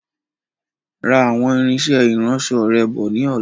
Ra àwọn irinsẹ́ ìránsọ rẹ bọ̀ ni ọ̀la.